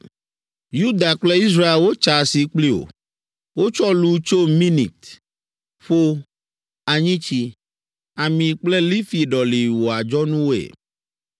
“Yuda kple Israel wotsa asi kpli wò. Wotsɔ lu tso Minit, ƒo, anyitsi, ami kple lifi ɖɔli wò adzɔnuwoe.